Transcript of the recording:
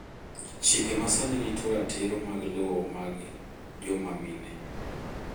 chike masani rito ratiro mag lowo mag jomamine